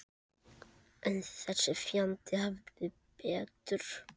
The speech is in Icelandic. En þessi fjandi hafði betur.